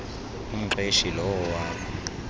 umqeshi lowo wakho